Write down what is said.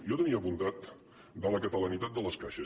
jo tenia apuntat de la catalanitat de les caixes